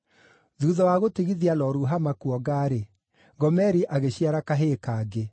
Thuutha wa gũtigithia Lo-Ruhama kuonga-rĩ, Gomeri agĩciara kahĩĩ kangĩ.